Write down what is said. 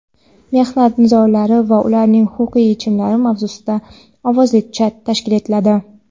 "Mehnat nizolari va ularning huquqiy yechimlari" mavzusida ovozli chat tashkil etiladi.